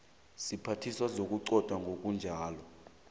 siphathiswa sokuquntwa kobujamo